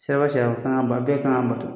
Siraba sariya kan ka ba bɛɛ kan ka bato.